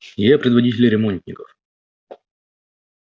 я предводитель ремонтников